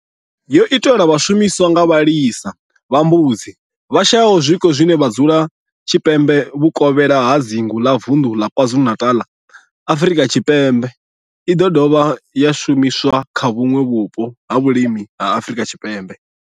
Yo itelwa u shumiswa nga vhalisa vha mbudzi vhashayaho zwiko vhane vha dzula tshipembe vhuvokhela ha dzingu la Vundu la KwaZulu-Natal, Afrika Tshipembe i do dovha ya shumiswa kha vhuṋwe vhupo ha vhulimi ha Afrika Tshipembe.